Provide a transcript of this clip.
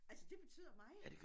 Altså det betyder meget